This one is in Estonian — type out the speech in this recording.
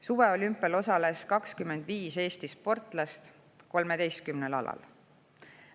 Suveolümpial osales 25 Eesti sportlast 13 alal.